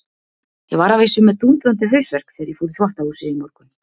Ég var að vísu með dúndrandi hausverk þegar ég fór í þvottahúsið í morgun.